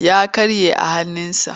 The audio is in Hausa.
Ya karye a hannunsa.